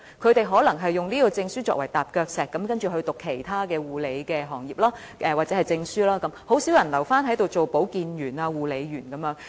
他們可能以有關證書作為踏腳石，然後再修讀其他關於護理的證書課程，很少人留下做保健員或護理員。